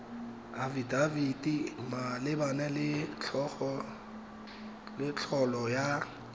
afidafiti malebana le tlolo ya